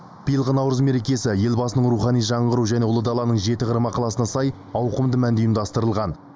биылғы наурыз мерекесі елбасының рухани жаңғыру және ұлы даланың жеті қыры мақаласына сай ауқымды мәнде ұйымдастырылған